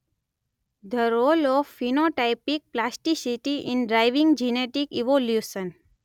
The role of phenotypic plasticity in driving genetic evolution.